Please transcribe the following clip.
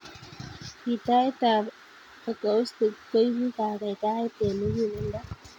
gitait ap acoustic koibu kakaikaet eng mukuleldo